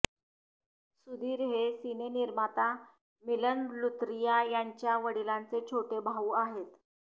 सुधीर हे सिनेनिर्माता मिलन लुथरिया यांच्या वडिलांचे छोटे भाऊ आहेत